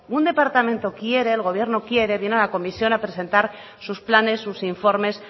un departamento quiere el gobierno quiere viene a la comisión a presentar sus planes sus informes